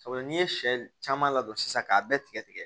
Sabula n'i ye sɛ caman ladon sisan k'a bɛɛ tigɛ tigɛ